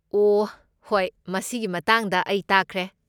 ꯑꯣꯍ ꯍꯣꯏ ꯃꯁꯤꯒꯤ ꯃꯇꯥꯡꯗ ꯑꯩ ꯇꯥꯈ꯭ꯔꯦ꯫